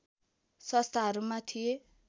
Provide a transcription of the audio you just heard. संस्थाहरूमा थिए